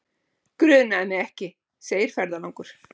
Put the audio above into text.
Grunaði mig ekki, segir ferðalangur.